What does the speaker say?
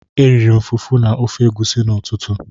Eriri m fufu na ofe egusi n'ụtụtụ.